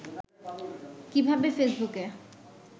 কীভাবে ফেসবুকে